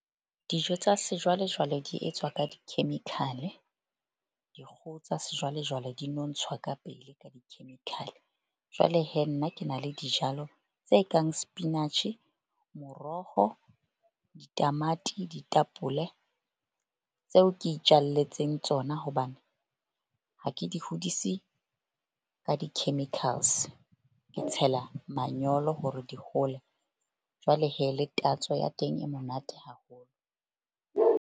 Dijo tsa sejwalejwale di etswa ka di-chemical-e. Dikgoho tsa sejwalejwale di nontshwa ka pele ka di-chemical-e. Jwale nna ke na le dijalo tse kang sepinatjhe, moroho, ditamati, ditapole tseo ke itjalletseng tsona hobane ha ke di hodisi ka di-chemicals. Ke tshela manyolo hore di hole jwale le tatso ya teng e monate haholo.